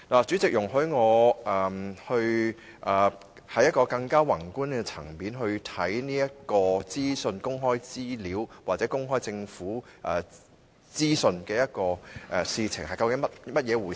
主席，容許我從一個較宏觀的層面來看公開資料或公開政府資訊究竟是怎樣的一回事。